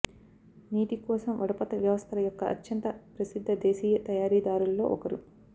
నీటి కోసం వడపోత వ్యవస్థల యొక్క అత్యంత ప్రసిద్ధ దేశీయ తయారీదారులలో ఒకరు